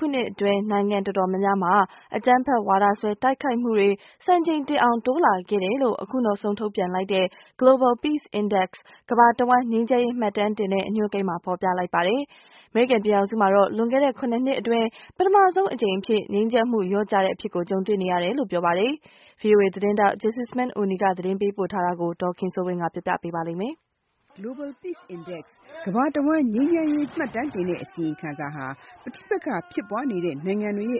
ခုနှစ်အတွင်း နိုင်ငံအတော်များများမှာ အကြမ်းဖက်ဝါဒစွဲ တိုက်ခိုက်မှုတွေ စံချိန်တင်အောင်တိုးလာခဲ့တယ်လို့ အခုနောက်ဆုံးထုတ်ပြန်လိုက်တဲ့ Global Peace Index ကမ္ဘာတဝန်းငြိမ်းချမ်းရေး မှတ်တမ်းတင်တဲ့အညွှန်းကိန်းမှာ ဖေါ်ပြလိုက်ပါတယ်။ အမေရိကန်ပြည်ထောင်စုမှာတော့ လွန်ခဲ့တဲ့ ၇ နှစ်အတွင်း ပထမဆုံးအကြိမ်းအဖြစ် ငြိမ်းချမ်းမှုလျော့ကျတဲ့ အဖြစ်ကို တွေ့ကြုံနေရတယ်လို့ဆိုပါတယ်။ VOA သတင်းထောက် Jesusemen Oni က သတင်းပေးပို့ထားတာကို ဒေါ်ခင်စိုးဝင်းကပြောပြပေးမှာပါ။ Global Peace Index အစီရင်ခံစာဟာ ကမ္ဘာတဝန်း ပဋိပက္ခဖြစ်ပွားနေတဲ့ အဆင့်ကိုလည်း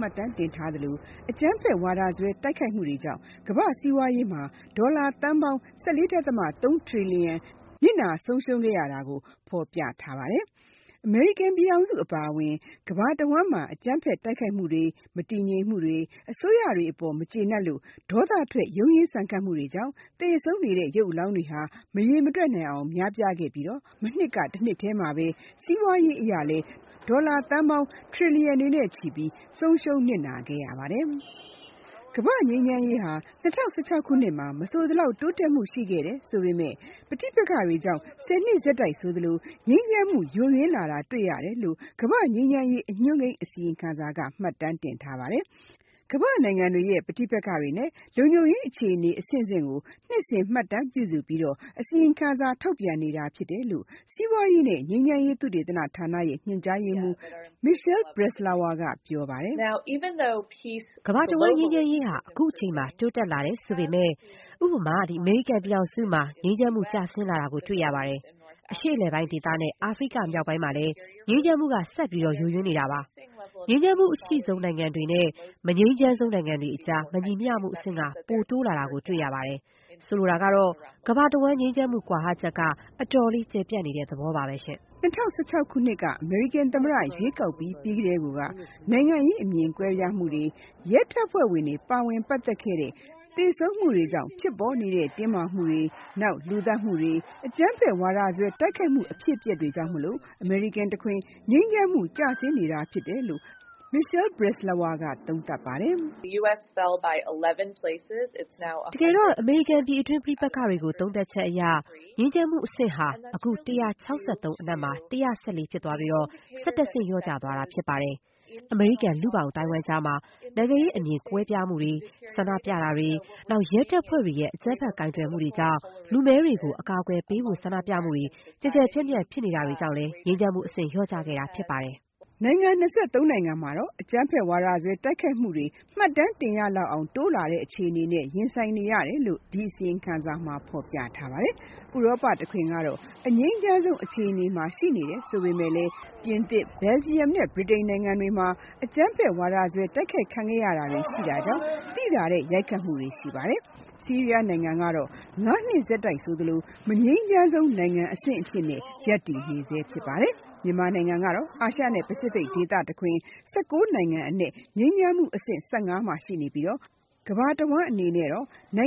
မှတ်တမ်းတင်ထားသလို၊ အကြမ်းဖက်ဝါဒစွဲတိုက်ခိုက်မှုတွေကြောင့် ကမ္ဘာ့စီးပွားရေးမှာ ဒေါ်လာသန်းပေါင်း ၁၄.၃ ထရီလီယံ ဆုံးရှုံးခဲ့ရတယ်လို့ ဖေါ်ပြလိုက်တာပါ။ အမေရိကန်ပြည်ထောင်စုအပါအဝင် ကမ္ဘာတဝန်းမှာ အကြမ်းဖက်တိုက်ခိုက်မှုတွေ၊ မတည်ငြိမ်မှုတွေ၊ အစိုးရတွေအပေါ် မကျေနပ်လို့ ဒေါသထွက် ရုန်းရင်ဆန်ခတ်မှုတွေကြောင့် သေဆုံးနေတဲ့ရုပ်အလောင်းတွေမရေတွက်နိုင်အောင် များပြားခဲ့ပြီး၊ မနှစ်ကတနှစ်တည်းမှာဘဲ စီးပွားရေးအရ ဒေါ်လာ ထရီလီယံနဲ့ချီ နစ်နာဆုံးရှုံးခဲ့ရပါတယ်။ ကမ္ဘာ့ငြိမ်းချမ်းရေးဟာ ၂၀၁၆ ခုနှစ်မှာ မဆိုသလောက်တိုးတက်မှုရှိခဲ့ပေမဲ့၊ ပဋိပက္ခတွေကြောင့် ၁၀ နှစ်ဆက်တိုက် ငြိမ်းချမ်းမှုယိုယွင်းလာတာတွေ့ရတယ်လို့ ကမ္ဘာ့ငြိမ်းချမ်းရေးအညွှန်းကိန်း အစီရင်ခံစာက မှတ်တမ်းတင်ထားပါတယ်။ ကမ္ဘာ့နိုင်ငံတွေရဲ့ ပဋိပက္ခနဲ့ လုံခြုံရေး အခြေအနေအဆင့်ကို နှစ်စဉ်မှတ်တမ်းပြုစုပြီး အစီရင်ခံစာထုတ်ပြန်နေတာဖြစ်တယ်လို့ စီးပွားရေးနဲ့ ငြိမ်းချမ်းရေးသုတေသနဌာနရဲ့ ညွှန်ကြားရေးမှူး Michelle Breslauer ကပြောပါတယ်။ “ကမ္ဘာတဝန်းငြိမ်းချမ်းရေးဟာ အခုချိန်မှာ တိုးတက်လာတယ်ဆိုပေမဲ့၊ ဥပမာ အမေရိကန်ပြည်ထောင်စုမှာ ငြိမ်းချမ်းမှုကျဆင်းလာတာတွေ့ရပါတယ်။ အရှေ့အလယ်ပိုင်းဒေသနဲ့ အာဖရိကမြောက်ပိုင်းမှာလည်း ငြိမ်းချမ်းမှုက ဆက်ပြီး ယိုယွင်းနေတာပါ။ ငြိမ်းချမ်းမှုအရှိဆုံးနိုင်ငံတွေနဲ့ မငြိမ်းချမ်းဆုံးနိုင်ငံတွေကြား မညီမျှမှုအဆင့်က ပိုတိုးလာတွေ့ရပါတယ်။ ဆိုလိုတာကတော့ ကမ္ဘာတဝန်းငြိမ်းချမ်းမှု ကွာဟချက်က အတော်လေးကျယ်ပြန့်နေတဲ့သဘောပါဘဲ။” ၂၀၁၆ ခုနှစ်အမေရိကန်သမ္မတရွေးကောက်ပွဲပြီးကတည်းက နိုင်ငံရေးအမြင်ပွဲပြားမှုတွေ၊ ရဲတပ်ဖွဲ့ဝင်တွေပါဝင်ပတ်သက်တဲ့ သေဆုံးမှုတွေကြောင့်ဖြစ်ပေးနေတဲ့ တင်းမာမှုတွေ၊ နောက်လူသတ်မှုတွေ၊ အကြမ်းဖက်ဝါဒစွဲ တိုက်ခိုက်မှု အဖြစ်အပျက်တွေကြောင့် အမေရိကန်တခွင် ငြိမ်းချမ်းမှု ကျဆင်းနေတာဖြစ်တယ်လို့ Michelle Breslauer ကသုံးသပ်ပါတယ်။ “ တကယ်တော့ အမေရိကန်ပြည်တွင်းပဋိပက္ခတွေကို သုံးသပ်ချက်အရ၊ ငြိမ်းချမ်းမှုအဆင့်ဟာ အခု ၁၆၃ အနက် ၁၁၄ ဖြစ်သွားပြီး ၁၁ ဆင့်လျော့ကျသွားတာဖြစ်ပါတယ်။ အမေရိကန်လူ့ဘောင်အသိုင်းအဝိုင်းကြားမှာ နိုင်ငံရေးအမြင်ကွဲပြားမှုတွေ၊ ဆန္ဒပြတာတွေ၊ နောက် ရဲတပ်ဖွဲ့တွေရဲ့အကြမ်းဖက်ကိုင်တွယ်မှုတွေကြောင့် လူမဲတွေကို အကာအကွယ်ပေးဖို့ဆန္ဒပြမှုတွေ ကျယ်ကျယ်ပြန့်ပြန့်ဖြစ်နေတာတွေကြောင့် ငြိမ်းချမ်းမှုအဆင့်လျော့ကျခဲ့တာဖြစ်ပါတယ်။” နိုင်ငံ ၂၃ နိုင်ငံမှာတော့ အကြမ်းဖက်ဝါဒစွဲတိုက်ခိုက်မှုတွေ မှတ်တမ်းတင်ရလောက်အောင်တိုးလာတဲ့အခြေအနေကို ရင်ဆိုင်နေရတယ်လို့ ဒီအစီရင်ခံစာမှာဖေါ်ပြထားပါတယ်။ ဥရောပတခွင်ကတော့ အငြိမ်းချမ်းဆုံးအခြေအနေမှာရှိနေတယ်လို့ဆိုပေမဲ့၊ ပြင်သစ်၊ Belgium နဲ့ ဗြိတိန်နိုင်ငံတွေမှာတော့ အကြမ်းဖက်ဝါဒစွဲတိုက်ခိုက်ခံရတာတွေရှိခဲ့တာကြောင့် သိသာတဲ့ ရိုက်ခတ်မှုတွေရှိပါတယ်။ ဆီးရီးယားနိုင်ငံကတော့ ၅ နှစ်ဆက်တိုက် မငြိမ်းချမ်းဆုံးနိုင်ငံအဖြစ် ရပ်တည်နေဆဲဖြစ်ပါတယ်။ မြန်မာနိုင်ငံကတော့ အာရှနဲ့ ပစိဖိတ်ဒေသ ၁၉ နိုင်ငံအနက် ငြိမ်းချမ်းမှုအဆင့် ၁၅၊ ကမ္ဘာတဝန်း ၁၆၃ အန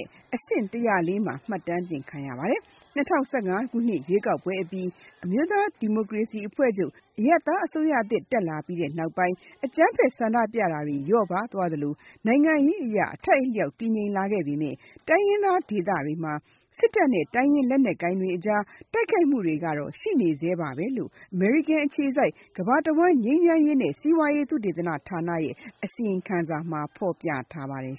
က် အဆင့် ၁၀၄ မှာ မှတ်တမ်းတင်ခံရပါတယ်။ ၂၀၁၅ ခုနှစ်ရွေးကောက်ပွဲအပြီး NLD အရပ်သားအစိုးရတက်လာပြီးနောက်ပိုင်း အကြမ်းဖက်ဆန္ဒပြမှုတွေလျော့ပါးလာသလို၊ နိုင်ငံရေးအရ အထိုက်အလျောက်တည်ငြိမ်လာပေမဲ့၊ တိုင်းရင်းဒေသတွေမှာ စစ်တပ်နဲ့ တိုင်းရင်းလက်နက်ကိုင်တွေအကြား တိုက်ခိုက်တာတွေကတော့ ရှိနေဆဲပါဘဲလို့ အမေရိကန်အခြေစိုက် ကမ္ဘာတဝန်း ငြိမ်းချမ်းရေးနဲ့ စီးပွားရေးသုတေသနဌာနရဲ့ အစီရင်ခံစာမှာဖေါ်ပြထားပါတယ်